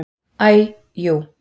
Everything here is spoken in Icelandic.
Æ jú.